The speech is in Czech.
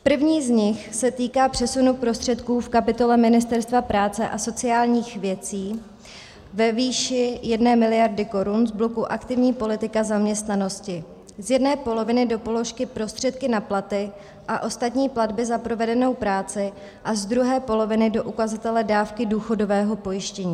První z nich se týká přesunu prostředků v kapitole Ministerstva práce a sociálních věcí ve výši 1 miliardy korun z bloku aktivní politika zaměstnanosti z jedné poloviny do položky prostředky na platy a ostatní platby za provedenou práci a z druhé poloviny do ukazatele dávky důchodového pojištění.